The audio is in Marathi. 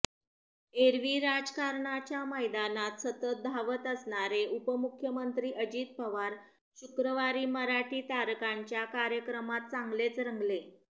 एरवी राजकारणाच्या मैदानात सतत धावत असणारे उपमुख्यमंत्री अजित पवार शुक्रवारी मराठी तारकांच्या कार्यक्रमात चांगलेच रंगले